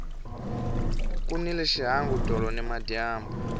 ku nile xihangu tolo nimadyambu